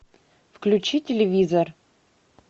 включи телевизор